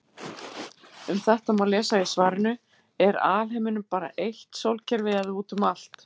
Um þetta má lesa í svarinu Er alheimurinn bara eitt sólkerfi eða út um allt?